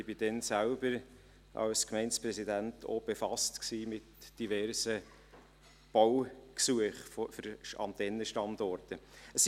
Ich war damals als Gemeindepräsident selbst mit diversen Baugesuchen für Antennenstandorte befasst.